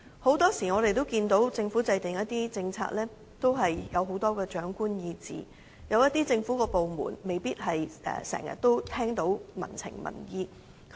很多時候，我們看到政府在制訂一些政策時有很多長官意志，有一些政府部門未必能夠經常聽到民情和民意。